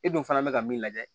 E dun fana bɛ ka min lajɛ